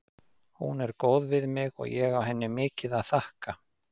Hún er góð við mig og ég á henni mikið að þakka.